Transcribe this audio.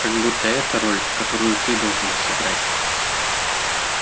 как будто эта роль которую ты должен съиграть